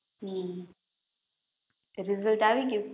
હમ result આવી ગ્યુ?